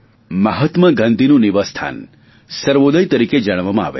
મહાત્મા ગાંધીનુ નિવાસસ્થાન સર્વોદય તરીકે જાણીતું છે